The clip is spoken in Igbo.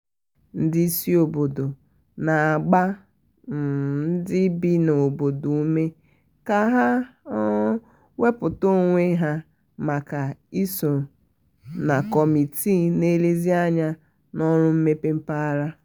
ndị isi obodo na-agba um ndị bi n'obodo ume ka ha um wepụta onwe ha maka iso na kọmitii na-elezi anya na ọrụ mmepe mpaghara.